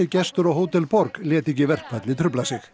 gestur á Hótel borg lét ekki verkfallið trufla sig